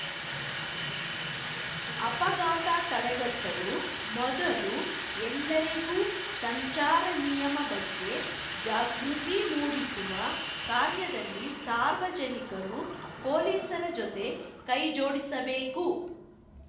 ಅಪಘಾತ ತಡೆಗಟ್ಟಲು ಮೊದಲು ಎಲ್ಲರಿಗೂ ಸಂಚಾರ ನಿಯಮ ಬಗ್ಗೆ ಜಾಗೃತಿ ಮೂಡಿಸುವ ಕಾರ್ಯದಲ್ಲಿ ಸಾರ್ವಜನಿಕರು ಪೊಲೀಸರ ಜೊತೆ ಕೈಜೋಡಿಸಬೇಕು